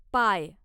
पाय